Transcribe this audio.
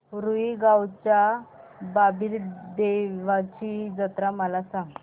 रुई गावच्या बाबीर देवाची जत्रा मला सांग